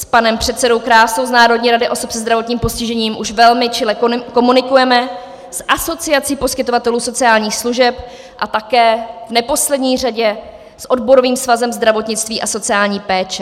S panem předsedou Krásou z Národní rady osob se zdravotním postižením už velmi čile komunikujeme, s Asociací poskytovatelů sociálních služeb a také v neposlední řadě s Odborovým svazem zdravotnictví a sociální péče.